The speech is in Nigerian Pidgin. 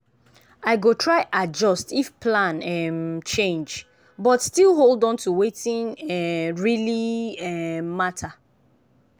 i go try adjust if plan um change but still hold on to wetin um really um matter.